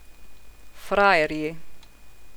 Frajerji.